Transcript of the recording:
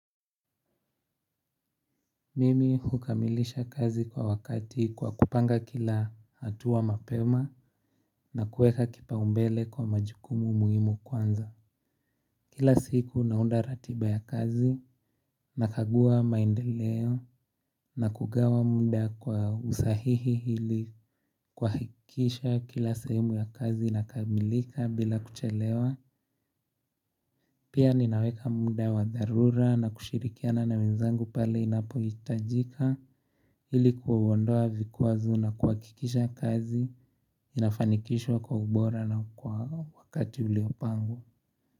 Mimi hukamilisha kazi kwa wakati kwa kupanga kila hatua mapema na kueka kipaumbele kwa majukumu muhimu kwanza. Kila siku naunda ratiba ya kazi na kagua maendeleo na kugawa mda kwa usahihi ili kuhakikisha kila sehemu ya kazi inakamilika bila kuchelewa. Pia ninaweka muda wadharura na kushirikiana na wenzangu pale inapohitajika. Hili kuwa ondoa vikuwazo na kuhqkikisha kazi inafanikishwa kwa ubora na kwa wakati uliopangwa.